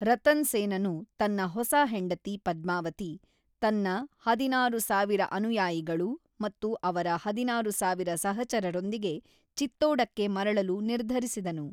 ರತನ್ ಸೇನನು ತನ್ನ ಹೊಸ ಹೆಂಡತಿ ಪದ್ಮಾವತಿ, ತನ್ನ ಹದಿನಾರು ಸಾವಿರ ಅನುಯಾಯಿಗಳು ಮತ್ತು ಅವರ ಹದಿನಾರು ಸಾವಿರ ಸಹಚರರೊಂದಿಗೆ ಚಿತ್ತೋಡಕ್ಕೆ ಮರಳಲು ನಿರ್ಧರಿಸಿದನು.